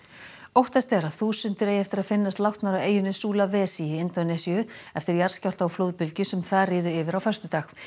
óttast er að þúsundir eigi eftir að finnast látnar á eyjunni í Indónesíu eftir jarðskjálfta og flóðbylgju sem þar riðu yfir á föstudag